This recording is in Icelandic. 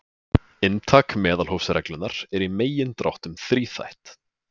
Inntak meðalhófsreglunnar er í megindráttum þríþætt.